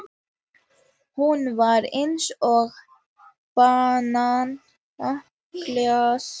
Hún var eins og bananaklasi.